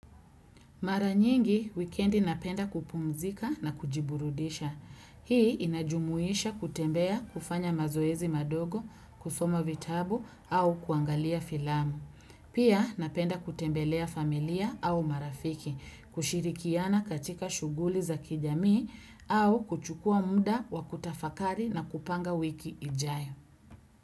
Maranyingi, wikendi napenda kupumzika na kujiburudisha. Hii inajumuisha kutembea kufanya mazoezi madogo, kusoma vitabu au kuangalia filamu. Pia napenda kutembelea familia au marafiki, kushirikiana katika shuguli za kijamii au kuchukua muda wa kutafakari na kupanga wiki ijayo.